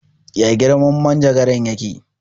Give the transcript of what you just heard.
Ya girman manjagaran ya ke?